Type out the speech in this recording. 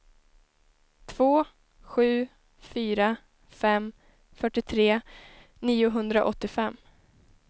två sju fyra fem fyrtiotre niohundraåttiofem